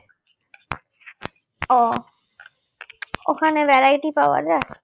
ও ওখানে variety পাওয়া যায়